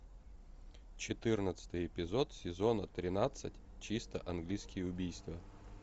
четырнадцатый эпизод сезона тринадцать чисто английские убийства